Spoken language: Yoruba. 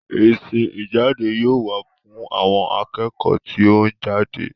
Ìsìn ìjáde yóò wà fún àwọn akẹ́kọ̀ọ́ tí ó ń jáde.